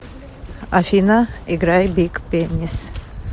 афина играй биг пенис